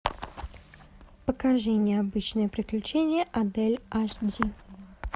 покажи необычные приключения адель аш ди